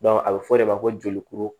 a bɛ fɔ o de ma ko jolikuru